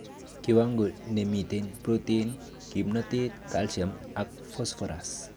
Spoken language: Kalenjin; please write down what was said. Kiwango nemiten protein, kimnotet, calcium ak phosphorus.